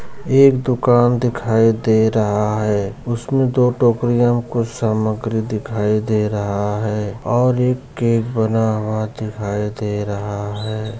एक दुकान दिखाई दे रहा है उसमें दो टोकरी में कुछ सामग्री दिखाए दे रहा है और केक बन हुआ दिखाई दे रहा है।